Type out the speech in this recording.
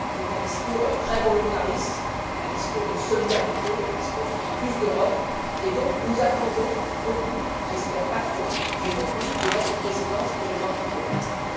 C'est un discours très volontariste, un discours de solidarité, un discours sur le plus d'Europe et donc, nous attendons beaucoup pas trop, j'espère, mais beaucoup de votre présidence pour les mois à venir.